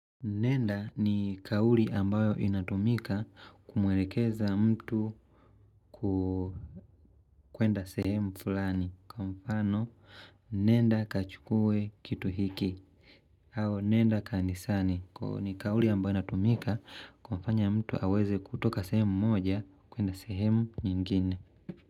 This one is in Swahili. Nenda ni kauli ambayo inatumika kumwelekeza mtu kukwenda sehemu fulani kwa mfano nenda kachukue kitu hiki au nenda kanisani kwa ni kauli ambayo inatumika kumfanya mtu aweze kutoka sehemu moja kuenda sehemu nyingine.